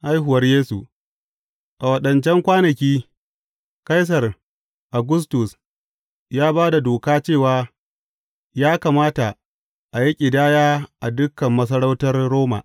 Haihuwar Yesu A waɗancan kwanaki, Kaisar Augustus ya ba da doka cewa ya kamata a yi ƙidaya a dukan masarautar Roma.